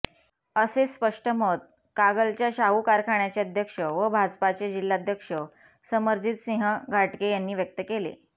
असे स्पष्ट मत कागलच्या शाहू कारखान्याचे अध्यक्ष व भाजपाचे जिल्हाध्यक्ष समरजितसिंह घाटगे यांनी व्यक्त केले